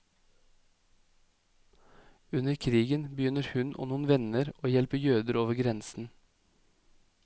Under krigen begynner hun og noen venner å hjelpe jøder over grensen.